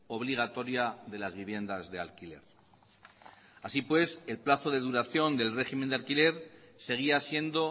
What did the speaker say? obligatoria de las viviendas de alquiler así pues el plazo de duración del régimen de alquiler seguía siendo